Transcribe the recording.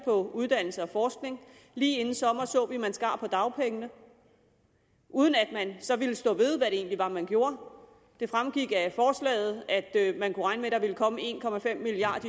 på uddannelse og forskning lige inden sommeren så vi at man skar ned på dagpengene uden at man så ville stå ved hvad det egentlig var man gjorde det fremgik af forslaget at man kunne regne med at der ville komme en milliard